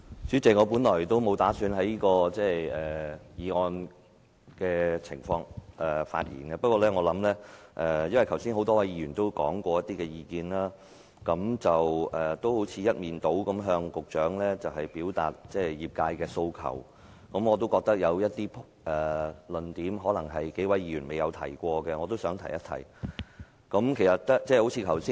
主席，我本來不打算就這項議案發言，不過因為剛才多位議員提出了一些意見，似乎一面倒地向局長表達業界的訴求，我有一些論點是沒有議員提出過的，所以想在此提一提。